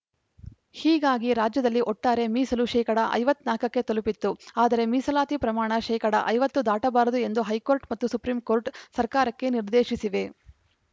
ಹೀಗಾಗಿ ರಾಜ್ಯದಲ್ಲಿ ಒಟ್ಟಾರೆ ಮೀಸಲು ಶೇಕಡಾ ಐವತ್ನಾಲ್ಕಕ್ಕೆ ತಲುಪಿತ್ತು ಆದರೆ ಮೀಸಲಾತಿ ಪ್ರಮಾಣ ಶೇಕಡಾ ಐವತ್ತು ದಾಟಬಾರದು ಎಂದು ಹೈಕೋರ್ಟ್‌ ಮತ್ತು ಸುಪ್ರೀಂ ಕೋರ್ಟ್‌ ಸರ್ಕಾರಕ್ಕೆ ನಿರ್ದೇಶಿಸಿವೆ